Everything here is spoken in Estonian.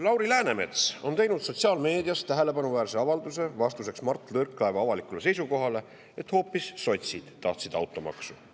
Lauri Läänemets on teinud sotsiaalmeedias tähelepanuväärse avalduse vastuseks Mart Võrklaeva avalikule seisukohale, et hoopis sotsid olevat tahtnud automaksu.